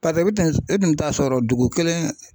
Paseke e tun bɛ t'a sɔrɔ dugu kelen.